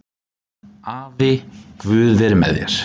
Afi, guð veri með þér